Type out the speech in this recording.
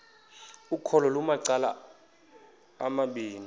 ukholo lunamacala amabini